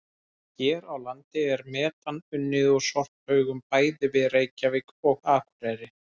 Hér á landi er metan unnið úr sorphaugum bæði við Reykjavík og Akureyri.